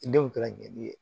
Denw ta ka gɛlɛn